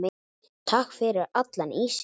Takk fyrir allan ísinn.